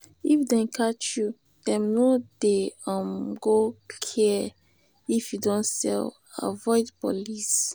if dem catch you dem no um go care if you don sell avoid police.